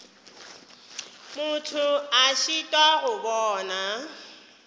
motho a šitwa go bona